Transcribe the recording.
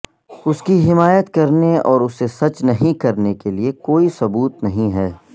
اس کی حمایت کرنے اور اسے سچ نہیں کرنے کے لئے کوئی ثبوت نہیں ہے